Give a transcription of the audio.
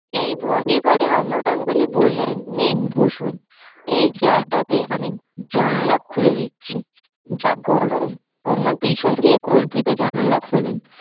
এই ভঙ্গি করে অমর গাঙ্গুলি বললেন নিন বসুন এই চেয়ারটাতে আমি জানালা খুলে দিচ্ছি। যা গরম অমর পেছন দিয়ে কল্পিত জানালা খোলেন।